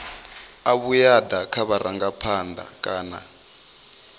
a vhuaḓa kha vharangaphanḓa kana